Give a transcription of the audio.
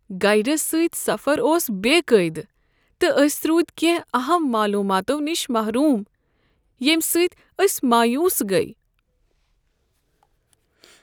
Guides سۭتۍ سفر اوس قاعدٕ، تہٕ أسۍ روٗدۍ کٮ۪نٛہہ اہم معلوٗماتو نش محروم ییٚمہ سۭتۍ أسۍ مایوس گٔیہ۔